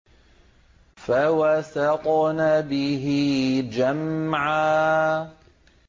فَوَسَطْنَ بِهِ جَمْعًا